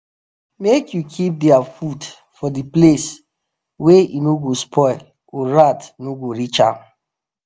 make u keep their food for the place wa eno go spoil or rat no go reach am